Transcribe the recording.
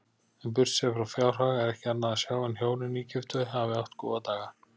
En burtséð frá fjárhag er ekki annað sjá en hjónin nýgiftu hafi átt góða daga.